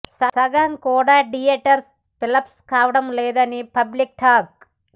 సగం కూడా theatres fill up కావటం లేదని పబ్లిక్ టాక్